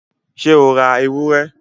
ṣé o ra ewúrẹ?